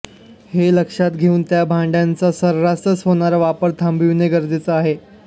हे लक्षात घेऊन त्या भांड्यांचा सर्रास होणारा वापर थांबविणे गरजेचे आहे